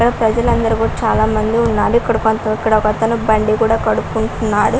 ఇక్కడ ప్రజలందరూ కూడా చాలామంది ఉన్నారు ఇక్కడ ఒక అతను బండి కూడా కడుక్కుంటున్నాడు.